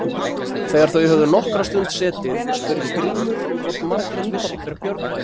Þegar þau höfðu nokkra stund setið spurði Grímur hvort Margrét vissi hver Björg væri.